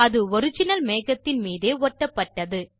அது ஒரிஜினல் மேகத்தின் மீதே ஒட்டப்பட்டது